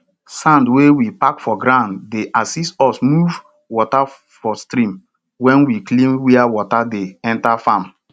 sand wey we pack for ground dey assist us move water for stream when we clean where water dey enter farm